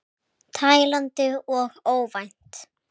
Tælandi og óvænt.